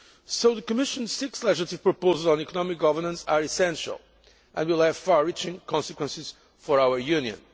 So the Commission's six legislative proposals on economic governance are essential and will have far reaching consequences for our Union.